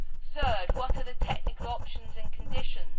Thirdly, what are the technical options and conditions?